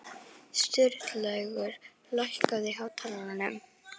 Sturlaugur, lækkaðu í hátalaranum.